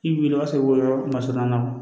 I b'i wuli o b'a sɔrɔ masɔnya kɔnɔ